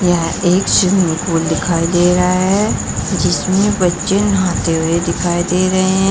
यह एक swimming pool दिखाई दे रहा है जिसमें बच्चे नहाते हुए दिखाई दे रहे हैं।